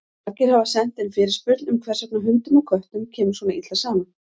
Margir hafa sent inn fyrirspurn um hvers vegna hundum og köttum kemur svona illa saman.